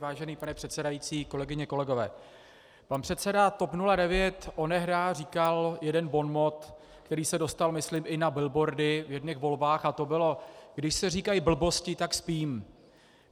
Vážený pane předsedající, kolegyně, kolegové, pan předseda TOP 09 onehdy říkal jeden bonmot, který se dostal, myslím, i na bilboardy v jedněch volbách, a to bylo "když se říkají blbosti, tak spím".